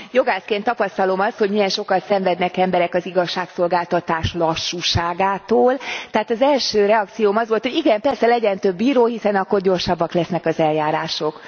Jogászként tapasztalom azt, hogy milyen sokat szenvednek emberek az igazságszolgáltatás lassúságától, tehát az első reakcióm az volt, hogy igen, persze, legyen több bíró, hiszen akkor gyorsabbak lesznek az eljárások.